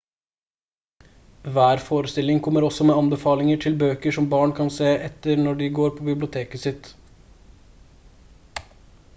hver forestilling kommer også med anbefalinger til bøker som barn kan se etter når de går på biblioteket sitt